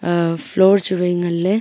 aa floor chuwai ngan ley.